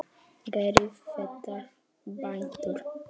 Gerið þetta, bændur!